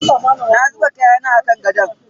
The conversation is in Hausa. Na zuba kayana a kan gadon.